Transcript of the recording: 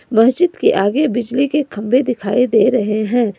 मस्जिद के आगे बिजली के खंभे दिखाई दे रहे हैं।